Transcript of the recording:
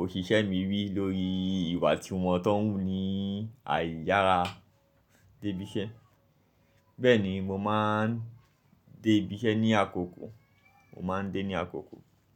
òṣìṣẹ́ mi wí lórí ìwà tí wọ́n tó ń wú ní àì yára débí iṣẹ́? Bẹ́ẹ̀ni, mo máa ń débí iṣẹ́ ní àkókò, mo máa ń débí ní àkókò.